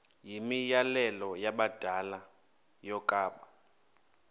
yimianelo yabadala yokaba